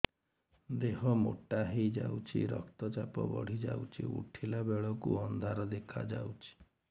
ଦେହ ମୋଟା ହେଇଯାଉଛି ରକ୍ତ ଚାପ ବଢ଼ି ଯାଉଛି ଉଠିଲା ବେଳକୁ ଅନ୍ଧାର ଦେଖା ଯାଉଛି